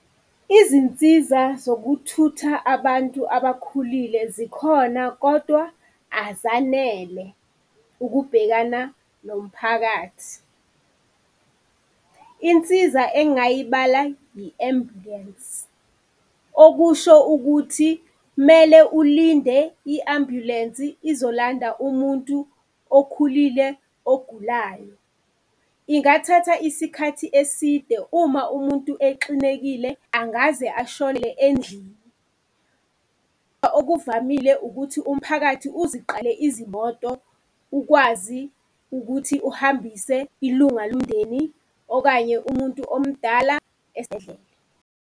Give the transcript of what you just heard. Izinsiza zokuthutha abantu abakhulile zikhona kodwa azanele ukubhekana nomphakathi. Insiza engayibhala i-ambulensi, okusho ukuthi mele ulinde i-ambulensi izolanda umuntu okhulile ogulayo. Ingathatha isikhathi eside. Uma umuntu exinekile, angaze ashone endlini. Okuvamile ukuthi umphakathi uziqale izimoto ukwazi ukuthi uhambise ilunga lomndeni, okanye umuntu omdala esibhedlele.